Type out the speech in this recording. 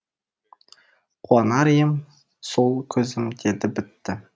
қуанар ем сол көзім деді бітті